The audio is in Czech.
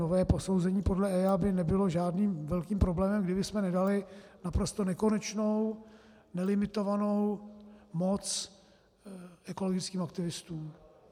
Nové posouzení podle EIA by nebylo žádným velkým problémem, kdybychom nedali naprosto nekonečnou, nelimitovanou moc ekologickým aktivistům.